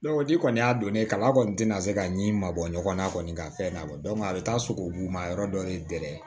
n'i kɔni y'a don ne kama a kɔni tɛna se ka ɲi mabɔ ɲɔgɔn na kɔni ka fɛn labɔ a bɛ taa sogobu ma yɔrɔ dɔ de